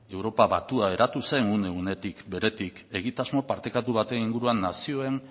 europa batua eratu zen une unetik beretik egitasmo partekatu baten inguruan nazioen